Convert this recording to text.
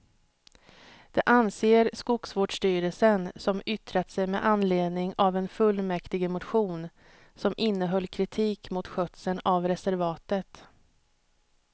Det anser skogsvårdsstyrelsen som yttrat sig med anledning av en fullmäktigemotion som innehöll kritik mot skötseln av reservatet.